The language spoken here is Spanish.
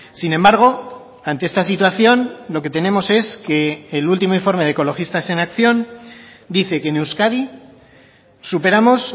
sin embargo ante esta situación lo que tenemos es que el último informe de ecologistas en acción dice que en euskadi superamos